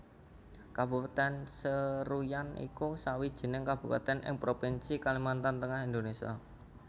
Kabupatèn Seruyan iku sawijining kabupatèn ing Provinsi Kalimantan Tengah Indonésia